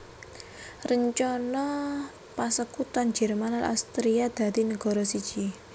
Rencana pasekuton Jerman lan Austria dadi negara siji